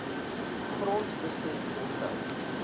grond beset omdat